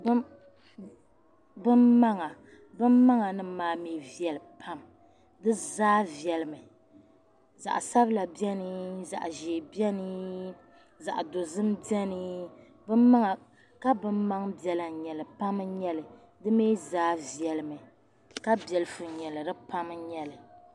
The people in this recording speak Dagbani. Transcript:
we.binmaŋa. binmaŋ binmaa mi veli pam. dizaa veli mi .zaɣsabla beni. zaɣzee beni. zaɣdozim beni. kabi n maŋ bela n. nyɛli. pam. n nyɛli. dizaa. veli mi. kabɛlifu n. nyɛli di pam n nyɛli